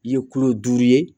I ye kulo duuru ye